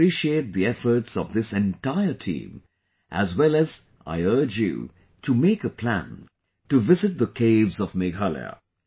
I appreciate the efforts of this entire team, as well as I urge you to make a plan to visit the caves of Meghalaya